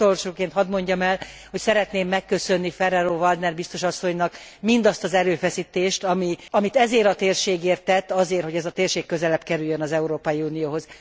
És még utolsóként hadd mondjam el, hogy szeretném megköszönni Ferrero Waldner biztos asszonynak mindazt az erőfeszítést, amit ezért a térségért tett, azért, hogy ez a térség közelebb kerüljön az Európai Unióhoz.